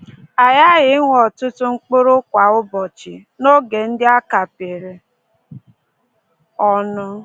A ghaghị ịṅụ ọtụtụ mkpụrụ kwa ụbọchị, n’oge ndị a kapịrị ọnụ